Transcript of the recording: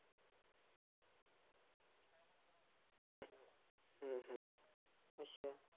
ਚੱਲ ਫੇਰ ਅੱਛਾ